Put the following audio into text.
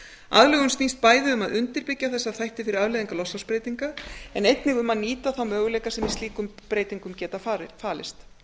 aðlögunin snýst bæði um að undirbyggja þessa þætti fyrir afleiðingar loftslagsbreytinga en einnig um að nýta þá möguleika sem í slíkum breytingum geta falist